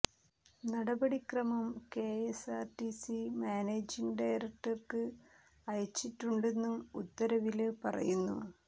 നടപടിക്രമം K S R T C managing ഡയറക്ടര്ക്ക് അയച്ചിട്ടുണ്ടെന്നും ഉത്തരവില് പറയുന്നു